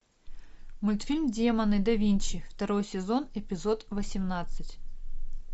мультфильм демоны да винчи второй сезон эпизод восемнадцать